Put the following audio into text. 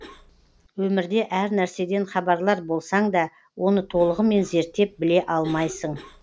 өмірде әр нәрседен хабарлар болсаң да оны толығымен зерттеп біле алмайсың